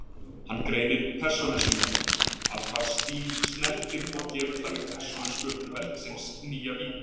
Hann greinir persónur sínar að hvað stíl snertir og gefur þannig persónusköpun verksins nýja vídd.